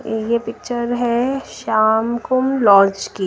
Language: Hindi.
ये पिक्चर है श्यामकुंब लॉन्च की।